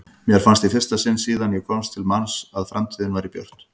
Mér fannst í fyrsta sinn síðan ég komst til manns að framtíðin væri björt.